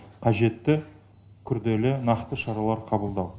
қажетті күрделі нақты шаралар қабылдау